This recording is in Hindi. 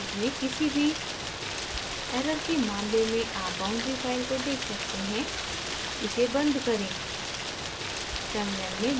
boundary names में किसी भी error के मामले में आप boundary file को देख सकते हैं इसे बंद करें